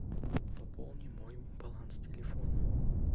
пополни мой баланс телефона